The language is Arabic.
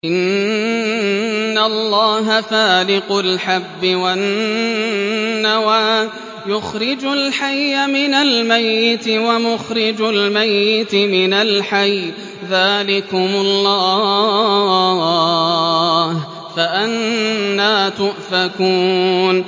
۞ إِنَّ اللَّهَ فَالِقُ الْحَبِّ وَالنَّوَىٰ ۖ يُخْرِجُ الْحَيَّ مِنَ الْمَيِّتِ وَمُخْرِجُ الْمَيِّتِ مِنَ الْحَيِّ ۚ ذَٰلِكُمُ اللَّهُ ۖ فَأَنَّىٰ تُؤْفَكُونَ